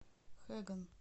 хэган